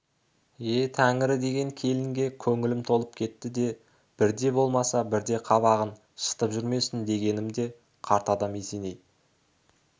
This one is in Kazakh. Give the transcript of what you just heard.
е тәңірі деген келінге көңілім толып кетті де бірде болмаса бірде қабағын шытып жүрмесін дегенім де қарт адам есеней